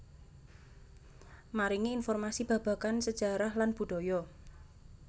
Maringi informasi babagan sejarah lan budaya